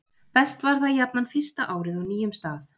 best var það jafnan fyrsta árið á nýjum stað